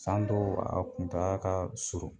San dɔw a kuntagala ka surun